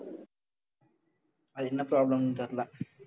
அது என்ன problem ன்னு தெரியலே.